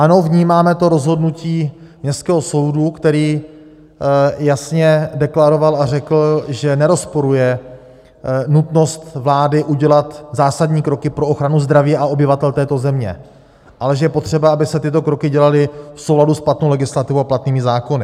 Ano, vnímáme to rozhodnutí Městského soudu, který jasně deklaroval a řekl, že nerozporuje nutnost vlády udělat zásadní kroky pro ochranu zdraví a obyvatel této země, ale že je potřeba, aby se tyto kroky dělaly v souladu s platnou legislativou a platnými zákony.